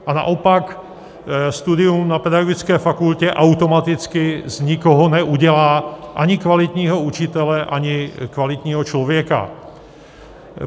A naopak studium na pedagogické fakultě automaticky z nikoho neudělá ani kvalitního učitele, ani kvalitního člověka.